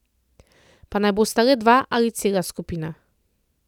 Pa naj bosta le dva ali cela skupina.